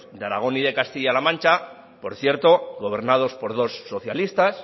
de aragón y de castilla la macha por cierto gobernados por dos socialistas